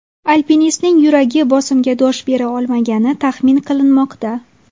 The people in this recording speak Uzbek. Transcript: Alpinistning yuragi bosimga dosh bera olmagani taxmin qilinmoqda.